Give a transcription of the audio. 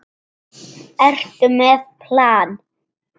Ertu með plan?